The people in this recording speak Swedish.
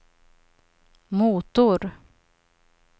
motor